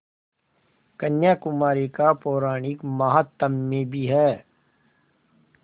कन्याकुमारी का पौराणिक माहात्म्य भी है